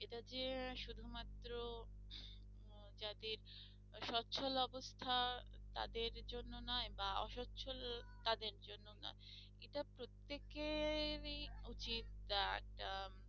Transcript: এটা যে শুধুমাত্র উম যাদের সচ্ছল অবস্থা তাদের জন্য নয় বা অসচ্ছল তাদের জন্যও নয় এটা প্রত্যেকেরই উচিত